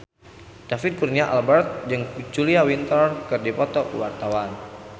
David Kurnia Albert jeung Julia Winter keur dipoto ku wartawan